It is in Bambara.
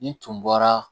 Ni tun bɔra